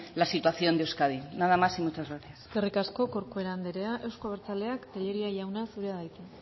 la situación de euskadi nada más y muchas gracias eskerrik asko corcuera anderea euzko abertzaleak tellería jauna zurea da hitza